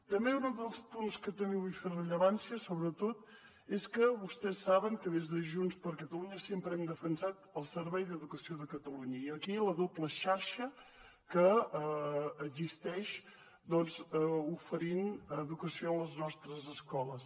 també un altre dels punts en què vull fer rellevància sobretot és que vostès saben que des de junts per catalunya sempre hem defensat el servei d’educació de catalunya i aquí la doble xarxa que existeix doncs oferint educació a les nostres escoles